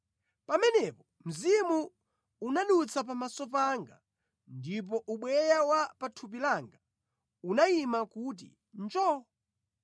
Pamenepo mzimu unadutsa pamaso panga, ndipo ubweya wa pa thupi langa unayima kuti njoo.